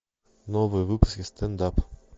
новые выпуски стенд ап